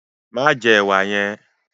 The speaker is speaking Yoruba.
Ma jẹ ẹwà yẹn!